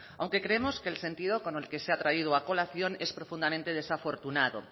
aunque creemos que el sentido con el que se ha traído a colación es profundamente desafortunado